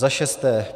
Za šesté.